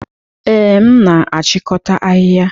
Ee, m na-achịkọta ahịhịa.